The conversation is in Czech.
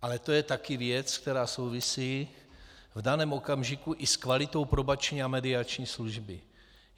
Ale to je taky věc, která souvisí v daném okamžiku i s kvalitou probační a mediační služby.